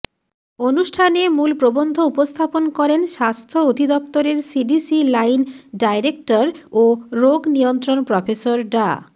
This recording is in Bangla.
অনুষ্ঠানে মূল প্রবন্ধ উপস্থাপন করেন স্বাস্থ্য অধিদপ্তরের সিডিসি লাইন ডাইরেক্টর ও রোগ নিয়ন্ত্রণ প্রফেসর ডা